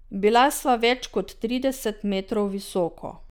Bila sva več kot trideset metrov visoko.